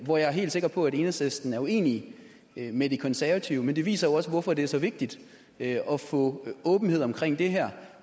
hvor jeg er helt sikker på at enhedslisten er uenig med de konservative men det viser jo også hvorfor det er så vigtigt at få åbenhed omkring det her